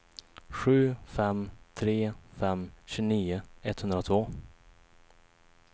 sju fem tre fem tjugonio etthundratvå